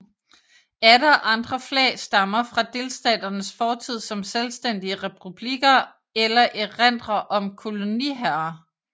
Atter andre flag stammer fra delstaternes fortid som selvstændige republikker eller erindrer om koloniherrer